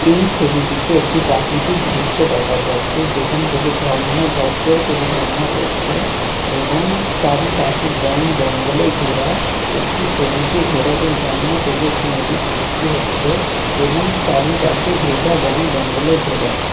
এই ছবিটিতে একটি প্রাকৃতিক দৃশ্য দেখা যাচ্ছে যেখান থেকে ঝর্না ঝর ঝর করে ঝর্না পড়ছে এবং চারিপাশে বন জঙ্গলে ঘেরা একটি সবুজে ঘেরা এবং ঝর্না থেকে একটি নদীর সৃষ্টি হচ্ছে এবং চারিপাশে ভেজা বন জঙ্গলে ঘেরা।